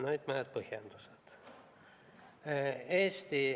Nüüd mõned põhjendused.